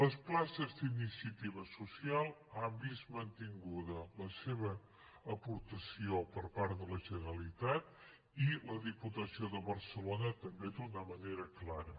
les places d’iniciativa social han vist mantinguda la seva aportació per part de la generalitat i la diputació de barcelona també d’una manera clara